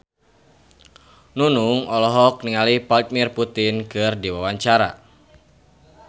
Nunung olohok ningali Vladimir Putin keur diwawancara